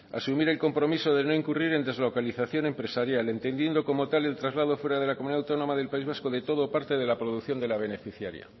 asumir el compromiso de no incurrir en deslocalización empresarial entendiendo como tal el traslado fuera de la comunidad autónoma del país vasco de todo o parte de la producción de la beneficiaria